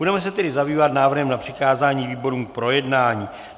Budeme se tedy zabývat návrhem na přikázání výborům k projednání.